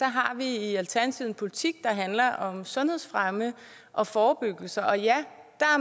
har vi i alternativet en politik der handler om sundhedsfremme og forebyggelse og ja